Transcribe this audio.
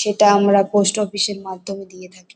সেটা আমরা post office এর মাধ্যমে দিয়ে থাকি।